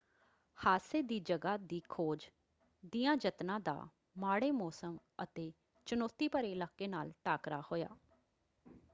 ਹਾਦਸੇ ਦੀ ਜਗ੍ਹਾ ਦੀ ਖੋਜ ਦਿਆਂ ਯਤਨਾਂ ਦਾ ਮਾੜੇ ਮੌਸਮ ਅਤੇ ਚੁਣੌਤੀ ਭਰੇ ਇਲਾਕੇ ਨਾਲ ਟਾਕਰਾ ਹੋਇਆ।